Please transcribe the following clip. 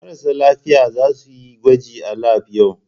Marasa lafiya za su yi gwaji a lab yau.